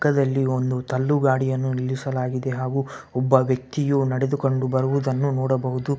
ಪಕ್ಕದಲ್ಲಿ ಒಂದು ತಳ್ಳುಗಾಡಿಯನ್ನು ನಿಲ್ಲಿಸಲಾಗಿದೆ ಹಾಗು ಒಬ್ಬ ವ್ಯಕ್ತಿಯು ನಡೆದುಕೊಂಡು ಬರುವುದನ್ನು ನೊಡಬಹುದು.